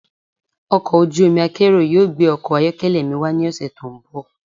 Ọkọ̀ ojú omi akérò yóò gbé ọkọ̀ ayọ́kẹ́lẹ́ mi wá ní ọ̀sẹ̀ tó ń bọ̀.